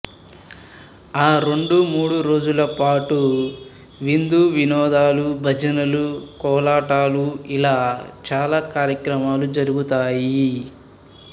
ఆ రెండు మూడు రోజుల పాటు విందు వినోదాలు భజనలు కోలాటాలు ఇలా చాల కార్యక్రమాలు జరుగుతాయి